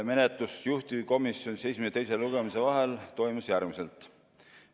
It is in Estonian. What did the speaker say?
Menetlus juhtivkomisjonis esimese ja teise lugemise vahel toimus järgmiselt.